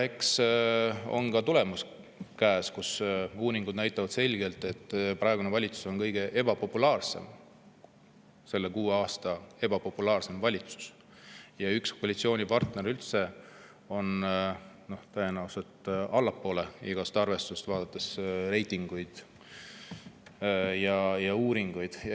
Eks ole ka tulemus käes: uuringud näitavad selgelt, et praegune valitsus on kuue aasta kõige ebapopulaarsem valitsus ja üks koalitsioonipartner on tõenäoliselt üldse allapoole igasugust arvestust, kui vaadata reitinguid ja uuringuid.